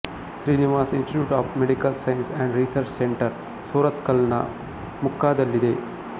Srinivas institute of medical science and research centre ಸೂರತ್ಕಲ್ನ ಮುಕ್ಕಾದಲ್ಲಿದೆ